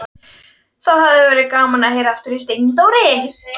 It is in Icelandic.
Það hafði verið gaman að heyra aftur í Steindóri.